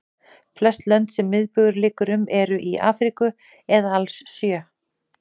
Flest lönd sem miðbaugur liggur um eru í Afríku eða alls sjö.